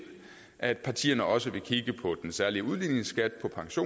at partierne også vil kigge på den særlige udligningsskat